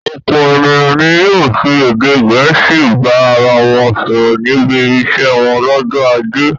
Ọ̀pọ̀ ènìyàn ni yóò fi èdè Gẹ̀ẹ́sì bá ara wọn sọ̀rọ̀ níbi iṣẹ́ wọn lọ́jọ́ ajé.